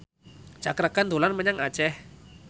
Cakra Khan dolan menyang Aceh